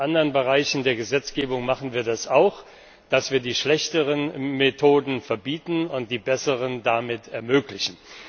In anderen Bereichen der Gesetzgebung machen wir das auch, dass wir die schlechteren Methoden verbieten und die besseren damit ermöglichen.